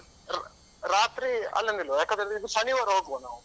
ರಾ ರಾತ್ರಿ ಅಲ್ಲೇ ನಿಲ್ಲುವ ಯಾಕಂತ ಹೇಳಿದ್ರೆ, ಇದು ಶನಿವಾರ ಹೋಗುವ ನಾವು.